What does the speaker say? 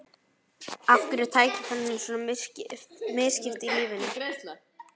Af hverju er tækifærunum svona misskipt í lífinu?